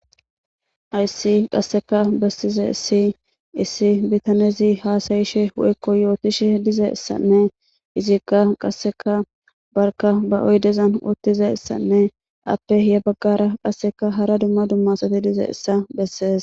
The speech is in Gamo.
Hayssi qasseka bessizay issi bitanezi haasayishe woyko yootishe dizessanne izikka qasseka barka ba oydezan uttize ssanne appe ya baggara qasseka hara dumma dumma Asat dizaysa bessees